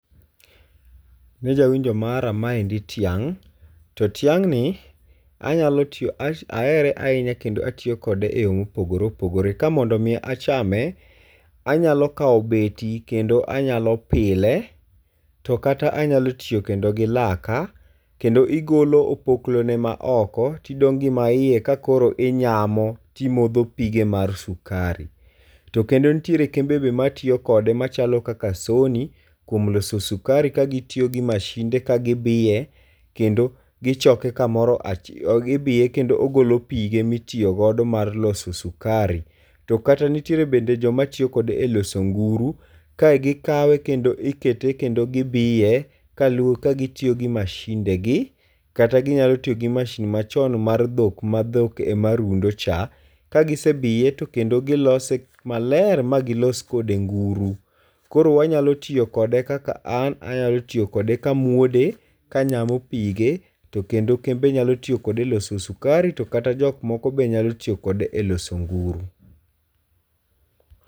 Ne jawinjo mara, maendi tiang' . To tiang' ni anyalo, ahere ahinya kendo atiyo kode e yo mopogore opogore. Ka mondo mi achame, anyalo kao beti kendo anyalo pile, to kata anyalo tiyo kendo gi laka, kendo igolo opoklo ne maoko, tidong' gi ma iye ka koro inyamo, timodho pige mar sukari. To kendo nitiere kembe be matiyo kode machalo kaka Sony kuom loso sukari ka gitiyo gi mashinde ka gibiye, kendo gichoke kamoro achiel, ibiye kendo ogolo pige mitiyo godo mar loso sukari. To kata nitiere bende joma tiyo kode e loso nguru. Kae gikawe kendo ikete kendo gibiye, ka gitiyo gi mashinde gi, kata ginyalo tiyo gi machine machon mar dhok, ma dhok e ma rundo cha. Kagise biye to kendo gilose maler ma gilos kode nguru. Koro wanyalo tiyo kode kaka an anyalo tiyo kode kamuode, kanyamo pige, to kendo kembe nyalo tiyo kode e loso sukari, to kata jok moko be nyalo tiyo kode e loso nguru.